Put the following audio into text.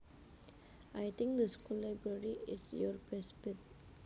I think the school library is your best bet